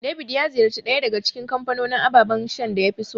David ya ziyarci ɗaya daga cikin kamfanonin ababan shan da yafi so.